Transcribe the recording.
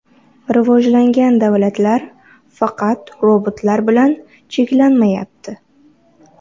Rivojlangan davlatlar faqat robotlar bilan cheklanmayapti.